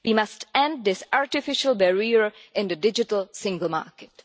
We must end this artificial barrier in the digital single market.